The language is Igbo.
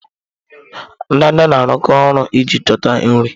Ndanda na-arụkọ ọrụ iji chọta nri.